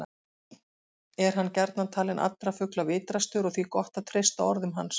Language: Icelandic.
Er hann gjarnan talinn allra fugla vitrastur og því gott að treysta orðum hans.